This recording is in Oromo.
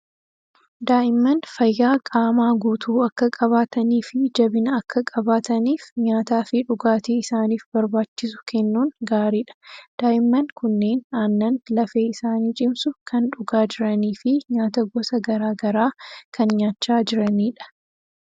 Daa'imman fayyaa qaamaa guutuu akka qabaatanii fi jabina akka qabaataniif nyaataa fi dhugaatii isaaniif barbbaachisu kennuun gaariidha. Daa'imman kunneen aannan lafee isaanii cimsu kan dhugaa jiranii fi nyaata gosa gara garaa kan nyaachaa jiranidha.